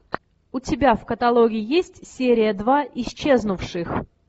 у тебя в каталоге есть серия два исчезнувших